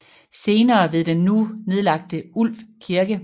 Senere ved den nu nedlagte Ulv Kirke